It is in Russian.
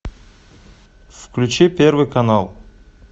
включи первый канал